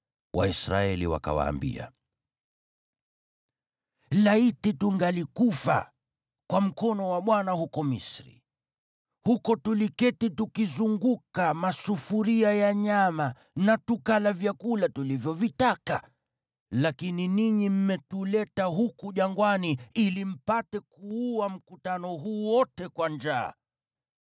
Waisraeli wakawaambia, “Laiti tungelikufa kwa mkono wa Bwana huko Misri! Huko tuliketi tukizunguka masufuria ya nyama na tukala vyakula tulivyovitaka, lakini ninyi mmetuleta huku jangwani ili mpate kuua mkutano huu wote kwa njaa.”